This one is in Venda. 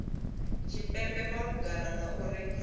tshipembe malugana na u rengisiwa